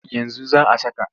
Yanzu za a saka.